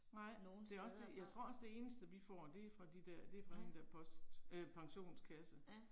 Nej det er også det, jeg tror også det eneste vi får det er fra de der, det fra den der post øh pensionskasse